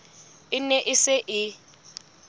e ne e se e